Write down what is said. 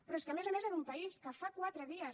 però és que a més a més en un país que fa quatre dies